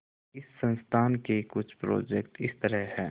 इस संस्थान के कुछ प्रोजेक्ट इस तरह हैंः